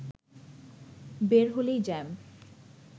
বের হলেই জ্যাম